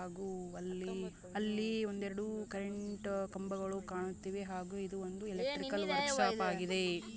ಹಾಗೂ ಅಲ್ಲಿ ಅಲ್ಲಿ ಒಂದೆರಡು ಕರೆಂಟ್ ಕಂಬಗಳು ಕಾಣುತ್ತಿವೆ ಆಗು ಇದು ಒಂದು ಎಲೆಕ್ಟ್ರಿಕಲ್ ವರ್ಕ್ ಶಾಪ್ ಆಗಿದೆ--